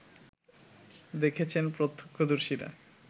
দেখেছেন প্রত্যক্ষদর্শীরা